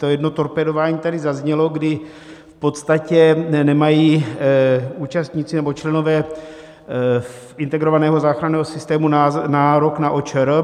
To jedno torpédování tady zaznělo, kdy v podstatě nemají účastníci nebo členové Integrovaného záchranného systému nárok na OČR.